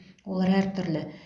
олар әртүрлі